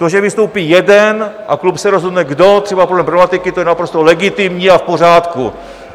To, že vystoupí jeden a klub se rozhodne kdo, třeba podle problematiky, to je naprosto legitimní a v pořádku.